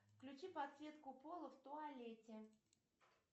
включи подсветку пола в туалете